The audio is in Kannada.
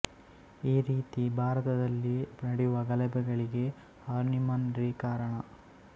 ಈ ರೀತಿ ಭಾರತದಲ್ಲಿ ನಡೆಯುವ ಗಲಭೆಗಳಿಗೆ ಹಾರ್ನಿಮನ್ ರೇ ಕಾರಣ